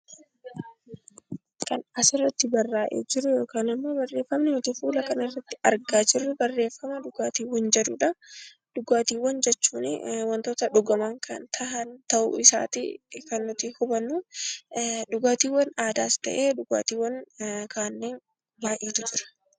Kan asirratti barraa'e yookaan barreeffamni nuti asirratti argaa jirru, barreeffama dhugaatii jedhudha. Dhugaatiiwwan jechuun waantota dhugaman kan ta'uu isaati kan nuti hubannu. Dhugaatiiwwan aadaas ta'ee kan ammayyaa baayyeetu jira.